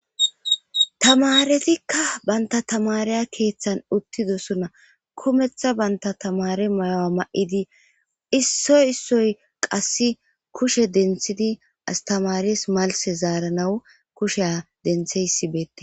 Tamaretikka bantta tamareya keeththan uttidosuna. kumeththa bantta tamare mayowa ma7idi issoy issoy qasse kushe denthidi astamares malse zaaranawu kusheya dentheysibeettes.